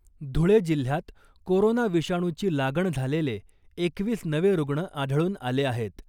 धुळे जिल्ह्यात कोरोना विषाणूची लागण झालेले एकवीस नवे रुग्ण आढळून आले आहेत .